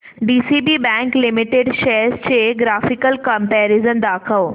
DCB bank limited shares चे graphical comparison दाखव